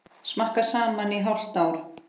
Snakka saman í hálft ár.